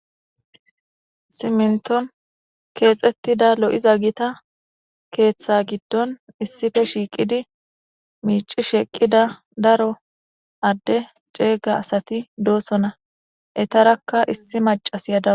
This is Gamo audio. Siminton keexettida lo'iza gita keeththa giddon issipe shiiqidi miicishe eqqida daro adde ceega asati doosonna. Eetarakka issi maccasiya dawus.